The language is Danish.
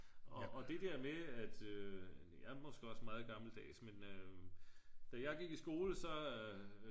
og det det der med at jeg er måske også meget gammeldags men da jeg gik i skole så